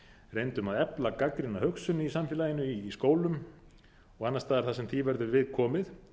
reyndum að efla gagnrýna hugsun í samfélaginu í skólum og annars staðar þar sem því verður við komið